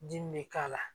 Dimi bɛ k'a la